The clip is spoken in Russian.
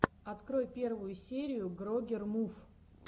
открой первую серию грогер мув